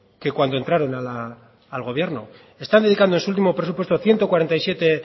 que cuando entraron al gobierno están dedicando su último presupuesto ciento cuarenta y siete